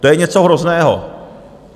To je něco hrozného.